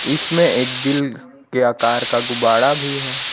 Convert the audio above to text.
इसमें एक दिल के आकार का गुब्बारा भी है।